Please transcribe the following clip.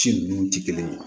Ci ninnu tɛ kelen ye